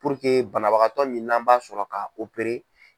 banabagatɔ min n'an b'a sɔrɔ ka .